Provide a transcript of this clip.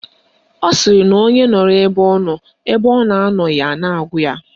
Ọ sịrị na onye nọrọ ebe ọ nọ, ebe ọ nọghị a na-agụ ya